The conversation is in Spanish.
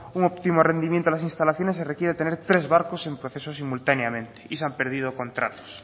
un óptimo rendimiento de las instalaciones se requiere tener tres barcos en proceso simultáneamente y se han perdido contratos